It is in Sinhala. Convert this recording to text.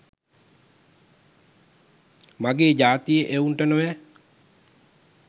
මගේ ජාතියෙ එවුන්ට නොවැ